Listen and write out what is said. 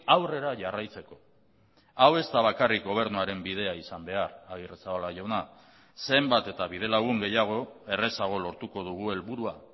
aurrera jarraitzeko hau ez da bakarrik gobernuaren bidea izan behar agirrezabala jauna zenbat eta bidelagun gehiago errazago lortuko dugu helburua